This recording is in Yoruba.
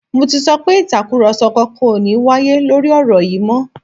Mo ti sọ pé Ìtàkùrọ̀sọ kankan ò ní wáyé lórí ọ̀rọ̀ yìí mọ́